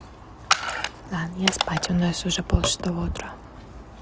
да мне спать у нас уже полшестого утра